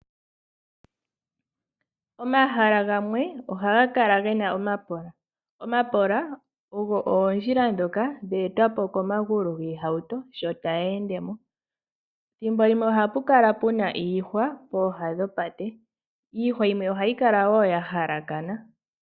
Omahala gamwe ohaga kala gena omapola. Omapola ogo oondjila ndhoka dhe etwapo komagulu giihauto, sho tayi endemo. Thimbo limwe ohapu kala puna iihwa, pooha dhopate. Iihwa yimwe ohayi kala wo yahalakana.